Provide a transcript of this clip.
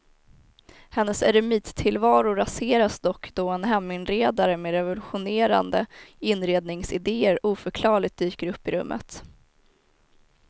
Hennes eremittillvaro raseras dock då en heminredare med revolutionerande inredningsidéer oförklarligt dyker upp i rummet.